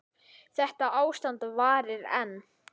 Þetta ástand varir enn.